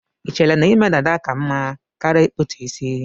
Ichere na ime dada ka mma karia ikputu isi